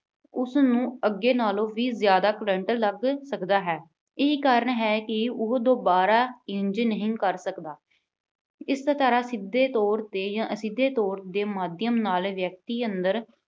ਉਸਨੂੰ ਅੱਗੇ ਨਾਲੋਂ ਵੀ ਜ਼ਿਆਦਾ current ਲੱਗ ਸਕਦਾ ਹੈ। ਇਹੀ ਕਾਰਨ ਹੈ ਕਿ ਉਹ ਦੁਬਾਰਾ ਇੰਜ ਨਹੀਂ ਕਰ ਸਕਦਾ। ਇਸ ਤਰ੍ਹਾਂ ਸਿੱਧੇ ਤੌਰ 'ਤੇ ਜਾਂ ਅਸਿੱਧੇ ਤੌਰ ਦੇ ਮਾਧਿਅਮ ਨਾਲ ਵਿਅਕਤੀ ਅੰਦਰ